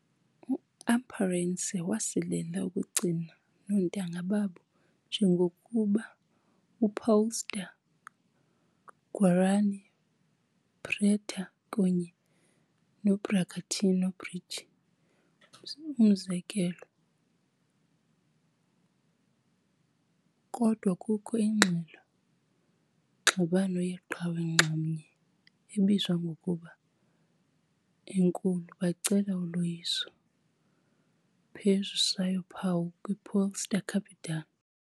Amparense wasilela ukugcina noontanga babo - njengokuba Paulista , Guarani, preta kunye Bragantino Bridge umzekelo, kodwa kukho iingxelo ngxabano yeqhawe nxamnye ebizwa ngokuba "Enkulu" - bacela uloyiso phezu Sao Paulo kwi Paulista Capital.